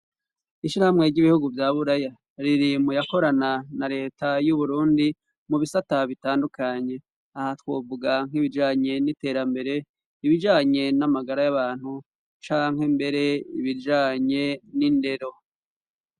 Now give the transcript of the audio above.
Ishirahamwe ry'ibihugu bya Buraya riri mu yakorana na Leta y'Uburundi mu bisata bitandukanye aha twovuga nk'ibijanye n'iterambere, ibijanye n'amagara y'abantu canke mbere ibijanye n'indero.